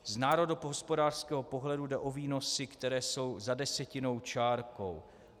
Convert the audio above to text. "Z národohospodářského pohledu jde o výnosy, které jsou za desetinnou čárkou.